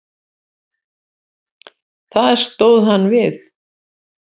Það stóð hann við.